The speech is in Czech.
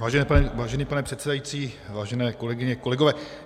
Vážený pane předsedající, vážené kolegyně, kolegové.